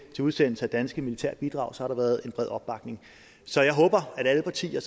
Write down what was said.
til udsendelse af danske militære bidrag har der været en bred opbakning så jeg håber at alle partier